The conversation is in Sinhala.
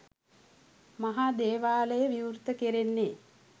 මහා දේවාලය විවෘත කෙරෙන්නේ